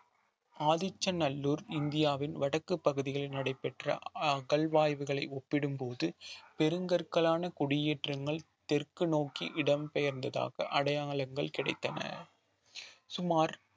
ஆதிச்சநல்லூர் இந்தியாவின் வடக்குப் பகுதியில் நடைபெற்ற அகழ்வாய்வுகளை ஒப்பிடும்போது பெருங்கற்களான குடியேற்றங்கள் தெற்கு நோக்கி இடம்பெயர்ந்ததாக அடையாளங்கள் கிடைத்தன சுமார்